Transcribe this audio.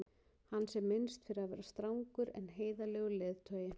hans er minnst fyrir að vera strangur en heiðarlegur leiðtogi